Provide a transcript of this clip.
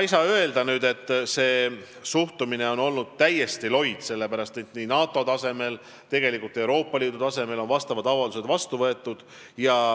Ei saa öelda, et suhtumine on täiesti loid olnud, sellepärast et nii NATO tasemel kui ka tegelikult Euroopa Liidu tasemel on vastavad avaldused vastu võetud.